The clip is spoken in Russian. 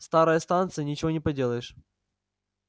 старая станция ничего не поделаешь